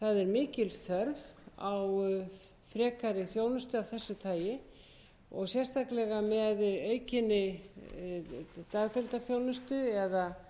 mikil þörf er á frekari þjónustu af þessu tagi sérstaklega með aukinni dagdeildaþjónustu eða